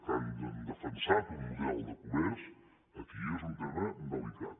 que han defensat un model de comerç aquí és un tema delicat